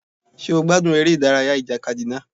Ṣé ó gbádùn eré ìdárayá ìjàkadì náà?